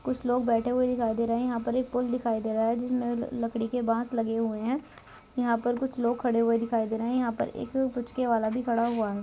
कुछ लोग बैठे हुए दिखाई दे रहे हैं यहाँ पर एक पुल दिखाई दे रहा है जिसमें लकड़ी के बांस लगे हुए हैं यहाँ पर कुछ लोग खड़े हुए दिखाई दे रहे हैं यहाँ पर एक पुचके वाला भी खड़ा हुआ है।